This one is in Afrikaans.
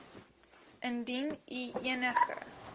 indien u enige